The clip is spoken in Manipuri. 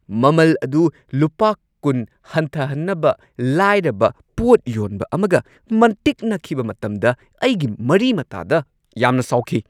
ꯃꯃꯜ ꯑꯗꯨ ꯂꯨꯄꯥ ꯲꯰ ꯍꯟꯊꯍꯟꯅꯕ ꯂꯥꯏꯔꯕ ꯄꯣꯠ ꯌꯣꯟꯕ ꯑꯃꯒ ꯃꯟꯇꯤꯛꯅꯈꯤꯕ ꯃꯇꯝꯗ ꯑꯩꯒꯤ ꯃꯔꯤ-ꯃꯇꯥꯗ ꯌꯥꯝꯅ ꯁꯥꯎꯈꯤ꯫